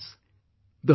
Friends,